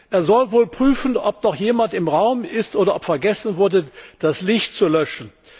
Er soll wohl prüfen, ob noch jemand im Raum ist oder ob vergessen wurde, das Licht zu löschen.